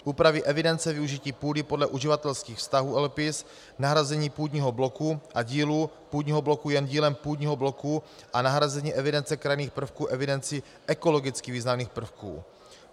Úpravy evidence využití půdy podle uživatelských vztahů LPIS, nahrazení půdního bloku a dílů půdního bloku jen dílem půdního bloku a nahrazení evidence krajinných prvků evidencí ekologicky významných prvků.